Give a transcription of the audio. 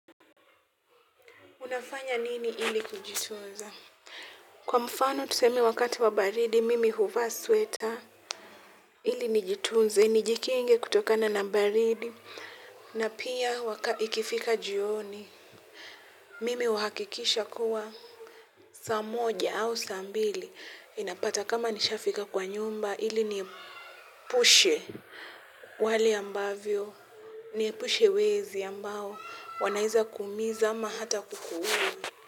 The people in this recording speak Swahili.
Unafanya nini ili kujitooza? Kwa mfano tuseme wakati wa baridi, mimi huvaa sweta. Ili nijitunze, nijikinge kutokana na baridi. Na pia ikifika jioni, mimi huhakikisha kuwa saa moja au saa mbili. Inapata kama nishafika kwa nyumba, ili nipushe wali ambavyo. Niupushe wezi ambao wanaweza kuumiza hata kuuwa.